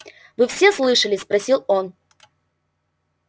вы все слышали спросил он